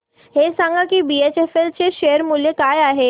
हे सांगा की बीएचईएल चे शेअर मूल्य काय आहे